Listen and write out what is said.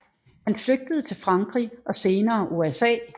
Han flygtede til Frankrig og senere USA